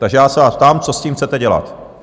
Takže já se vás ptám, co s tím chcete dělat?